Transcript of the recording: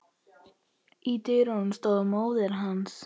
Í dyrunum stóð móðir hans.